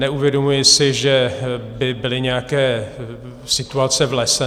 Neuvědomuji si, že by byly nějaké situace v lese.